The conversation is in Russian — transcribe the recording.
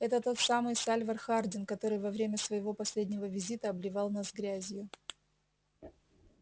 это тот самый сальвор хардин который во время своего последнего визита обливал нас грязью